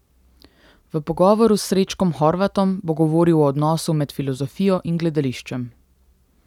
V pogovoru s Srečkom Horvatom bo govoril o odnosu med filozofijo in gledališčem.